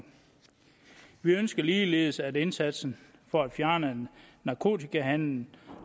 vi ønsker ligeledes at indsatsen for at fjerne narkotikahandel